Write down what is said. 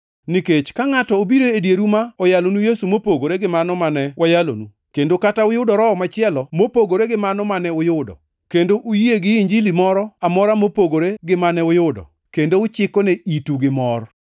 Nikech ka ngʼato obiro e dieru ma oyalonu Yesu mopogore gi mano mane wayalonu, kendo kata uyudo Roho machielo gi mano mane uyudo, kendo uyie gi Injili moro amora mopogore gi mane uyudo, kendo uchikone itu gimor,